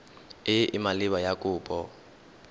e e maleba ya kopo